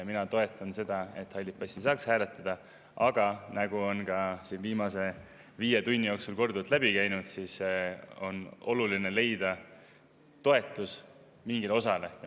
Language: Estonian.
Mina toetan seda, et halli passiga ei saaks hääletada, aga nagu on ka siin viimase viie tunni jooksul korduvalt läbi käinud, on oluline leida toetus mingile osale.